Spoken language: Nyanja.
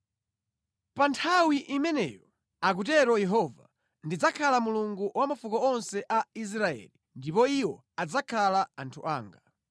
“Pa nthawi imeneyo,” akutero Yehova, “Ndidzakhala Mulungu wa mafuko onse a Israeli, ndipo iwo adzakhala anthu anga.”